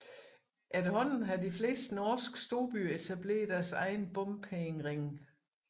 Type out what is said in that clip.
Efterhånden har de fleste norske storbyer etableret sine egne bompengeringe